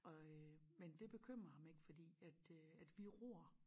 Og øh men det bekymrer ham ik fordi at øh at vi ror